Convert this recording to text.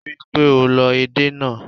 Rí i pé o lọ èdè náà.